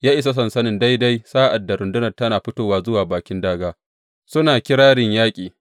Ya isa sansanin daidai sa’ad da rundunar tana fitowa zuwa bakin dāgā, suna kirarin yaƙi.